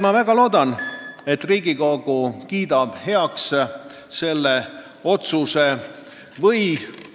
Ma väga ootan, et Riigikogu kiidab selle otsuse heaks.